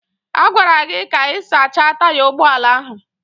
A gwara gị ka ị sachaa taya ụgbọ ala ahụ.